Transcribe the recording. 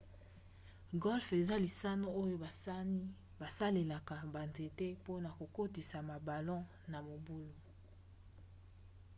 golfe eza lisano oyo basani basalelaka banzete mpona kokotisa babalon na mabulu